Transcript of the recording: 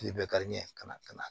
Kile bɛ kariɲɛ ka na ka na